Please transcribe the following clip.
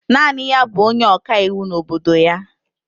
Naanị ya bụ onye ọkaiwu n'obodo ya